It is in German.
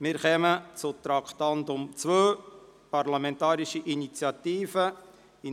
Wir kommen zum Traktandum 2, der Parlamentarischen Initiative «